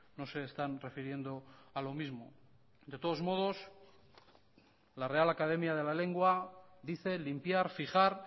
no se están refiriendo a lo mismo de todos modos la real academia de la lengua dice limpiar fijar